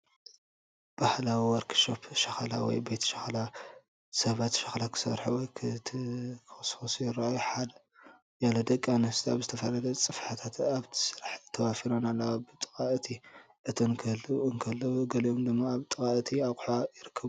ባህላዊ ወርክሾፕ ሸኽላ ወይ ቤት ሸኽላ። ሰባት ሸኽላ ክሰርሑ ወይ ክተኩሱ ይረኣዩ። ሓያሎ ደቂ ኣንስትዮ ኣብ ዝተፈላለየ ጽፍሕታት ኣብቲ ስራሕ ተዋፊረን ኣለዋ። ብጥቓ እቲ እቶን ክህልዉ እንከለዉ፡ ገሊኦም ድማ ኣብ ጥቓ እቲ ኣቕሑ ይርከቡ።